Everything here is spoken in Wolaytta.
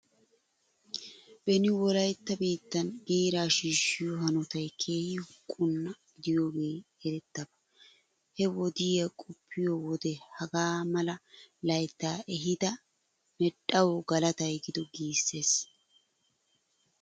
Beni Wolaytta biittan giiraa shiishshiyoo hanotay keehi huqqunna gidiyoogee erettidaba. He wodiyaa qoppiyo wode hagaa mala layttaa ehiida medhdhawu galatay gido giissees.